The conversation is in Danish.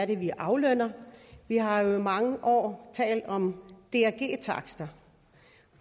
det er vi aflønner vi har jo i mange år talt om drg takster